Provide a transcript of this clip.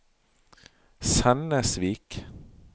Sennesvik